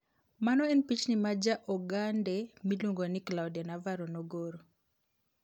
Mano en pichni ma ja Ogande miluongo ni Claudia Navarro nogoro.